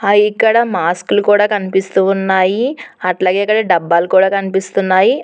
అయి ఇక్కడ మాస్క్ లు కూడా కనిపిస్తూ ఉన్నాయి అట్లగే ఇక్కడ డబ్బాలు కూడా కనిపిస్తున్నాయి.